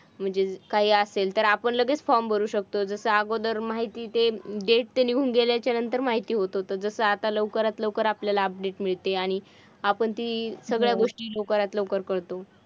म्हणजे काही असेल, तर आपण लगेच form भरू शकतो. जसं अगोदर माहिती ते date निघून गेल्याच्या नंतर माहिती होत होतं. जसं आता लवकरात लवकर आपल्याला update मिळते आणि आपण ती सगळ्या गोष्टी लवकरात लवकर करतो.